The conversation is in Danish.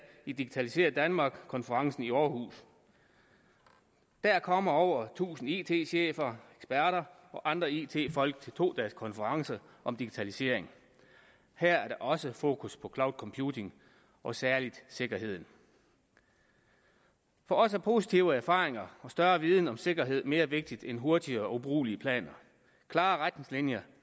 i digitalisér danmark konferencen i aarhus der kommer over tusind it chefer eksperter og andre it folk til to dages konference om digitalisering her er der også fokus på cloud computing og særlig sikkerheden for os er positive erfaringer og større viden om sikkerhed mere vigtigt end hurtige og ubrugelige planer klare retningslinjer